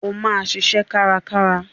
O máa ṣiṣẹ́ karákára.